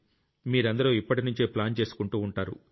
మీరందరూ ఇప్పటినుంచే ప్లాన్ చేసుకుంటూ ఉంటారు